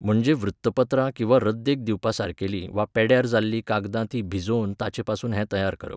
म्हणजे वृत्तपत्रां किंवा रद्देक दिवपासारकेली वा पॅड्ड्यार जाल्लीं कागदां ती भिजोवन ताचेपसून हें तयार करप.